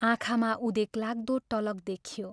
आँखामा उदेकलाग्दो टलक देखियो।